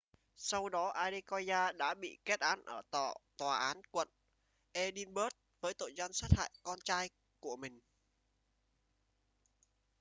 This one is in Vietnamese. sau đó adekoya đã bị kết án ở tòa án quận edinburgh với tội danh sát hại con trai của mình